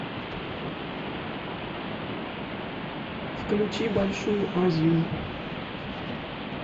включи большую азию